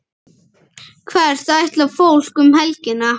Hvert ætlar fólk um helgina?